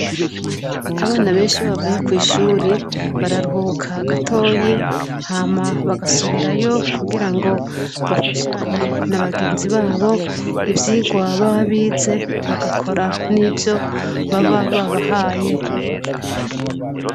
Abana bensh' iyo bavuye kwi' shuri bararuhuka gatoyi, hama bagasubirayo kugirango bafashanye na bagenzi babo ivyigwa baba bize bagakora n' ivyo baba babahaye.